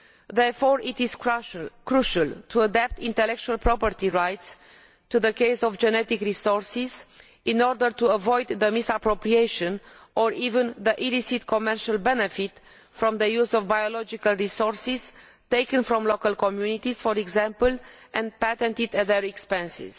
Therefore, it is crucial to adapt intellectual property rights to the case of genetic resources in order to avoid the misappropriation of or even illicit commercial benefit from the use of biological resources taken from local communities, for example, and patented at their expense.